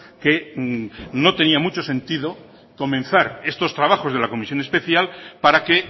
que no tenía mucho sentido comenzar estos trabajos de la comisión especial para que